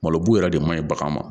Malobu yɛrɛ de ma ɲi bagan ma